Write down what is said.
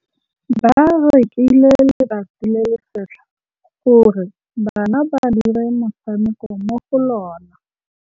Ba rekile lebati le le setlha gore bana ba dire motshameko mo go lona.